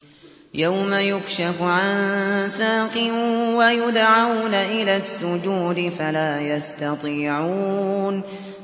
يَوْمَ يُكْشَفُ عَن سَاقٍ وَيُدْعَوْنَ إِلَى السُّجُودِ فَلَا يَسْتَطِيعُونَ